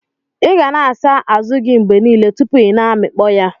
iga na asa azu gi mgbe nile tupu ina amikpo ya.